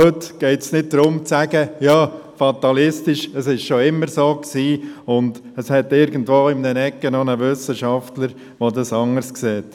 Heute geht es nicht darum, fatalistisch zu sein und zu sagen: «Es war schon immer so», während es in einer Ecke noch einen Wissenschaftler gibt, der es anders sieht.